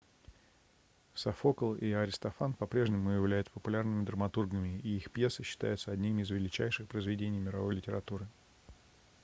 софокл и аристофан по-прежнему являются популярными драматургами и их пьесы считаются одними из величайших произведений мировой литературы